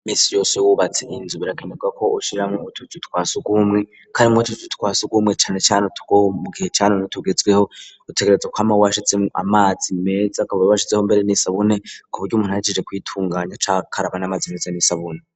Iminsi yose Iyo wubatse inzu birakenyerwa ko ushiramwo utuzu twasugumwe kandi mwutwo tuzu twasugmwe cane cane utwo mu gihe ca none utegerezawa kwama washizeho amazi meza akaba washizeho mbere n'isabune ku buryo umuntu ahejeje kwitunganya ace akaraba n'amazi meza n'isabune.